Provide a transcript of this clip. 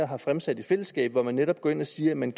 har fremsat i fællesskab og hvor man netop går ind og siger at man